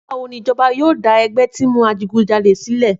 Nígbà wó ni ìjọ́bà yio dà ẹgbẹ ti ń mú àjígúnjàlẹ silẹ?